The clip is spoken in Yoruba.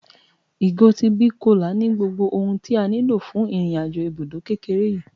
Ìgò ti big cola ní gbogbo ohun tí a nílò fún irin-àjò ibùdó kékeré yìí